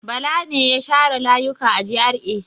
Bala ne ya share layuka a GRA.